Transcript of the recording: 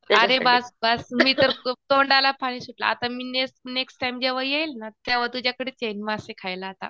अरे बास बास मी तर तोंडाला पाणी सुटलं आता मी नेक्स्ट टाईम जेंव्हा येईल ना तेंव्हा तुझ्याकडेच येईल मासे खायला आता.